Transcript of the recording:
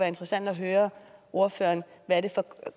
interessant at høre ordføreren hvad det